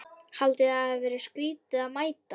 Haldið þið að það verið skrýtið að mætast?